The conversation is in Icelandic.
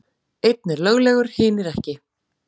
Einn er löglegur, hinir ekki.